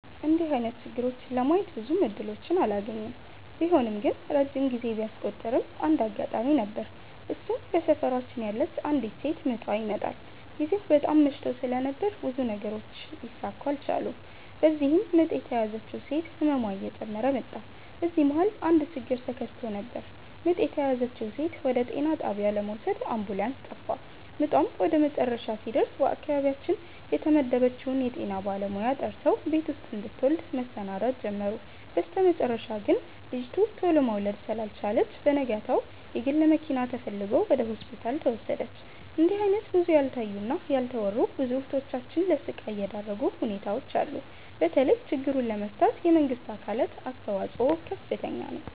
እንድህ አይነት ችግሮችን ለማየት ብዙም እድሎችን አላገኝም። ቢሆንም ግን ረጅም ጊዜ ቢያስቆጥርም አንድ አጋጣሚ ነበር እሱም በሰፈራችን ያለች አንዲት ሴት ምጧ ይመጠል። ግዜው በጣም መሽቶ ስለነበር ብዙ ነገሮች ሊሰካኩ አልቻሉም። በዚህም ምጥ የተያዘችው ሴት ህመሟ እየጨመረ መጣ። በዚህ መሀል አንድ ችግር ተከስቶ ነበር ምጥ የተያዘችውን ሴት ወደ ጤና ጣቢያ ለመውሰድ አምቡላንስ ጠፋ። ምጧም ወደመጨረሻ ሲደርስ በአካባቢያችን የተመደበችውን የጤና ባለሙያ ጠርተው ቤት ውስጥ እንድትወልድ መሰናዳት ጀመሩ። በስተመጨረሻ ግን ልጂቱ ቱሎ መውለድ ስላልቻለች በነጋታው የግል መኪና ተፈልጎ ወደ ሆስፒታል ተወሰደች። እንድህ አይነት ብዙ ያልታዩ እና ያልተወሩ ብዙ እህቶቻችን ለስቃይ የዳረጉ ሁኔታዎች አሉ። በተለይ ችግሩን ለመፍታት የመንግስት አካላት አስተዋጽኦ ከፍተኛ ነው።